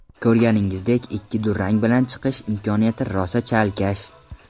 Ko‘rganingizdek, ikki durang bilan chiqish imkoniyati rosa chalkash.